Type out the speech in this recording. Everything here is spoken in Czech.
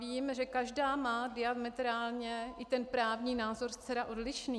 Vím, že každá má diametrálně i ten právní názor zcela odlišný.